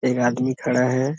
एक आदमी खड़ा है।